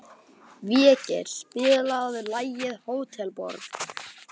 Végeir, spilaðu lagið „Hótel Borg“.